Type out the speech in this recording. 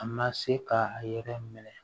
A ma se k'a yɛrɛ minɛ